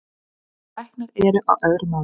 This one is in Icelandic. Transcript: En læknar eru á öðru máli